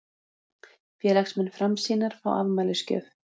Félagsmenn Framsýnar fá afmælisgjöf